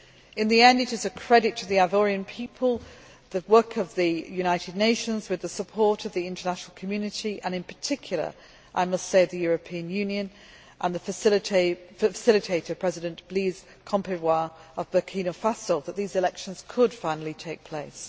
In the end, it is a credit to the Ivorian people, to the work of the United Nations with the support of the international community and, in particular I must say, to the European Union and the facilitator, President Blaise Compaore of Burkina Faso, that these elections could finally take place.